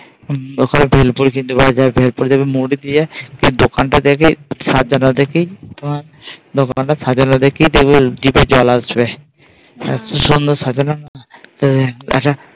ওখানে বেলপুরি পাওয়া যায় জিভে জল আসবে।